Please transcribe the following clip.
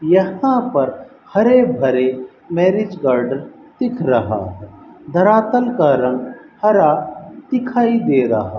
यहां पर हरे भरे मैरिज गार्डन दिख रहा है धरातल का रंग हरा दिखाई दे रहा --